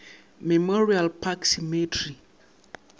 memorial park cemetery